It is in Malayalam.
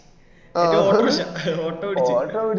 എന്നിട്ട് order ഇല്ല auto പിടിച്ചിട്